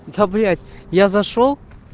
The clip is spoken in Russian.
да блять я зашёл